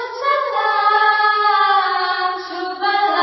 Vande Mataram